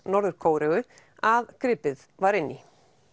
Norður Kóreu að gripið var inn í